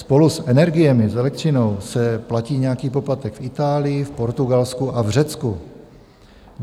Spolu s energiemi, s elektřinou, se platí nějaký poplatek v Itálii, v Portugalsku a v Řecku.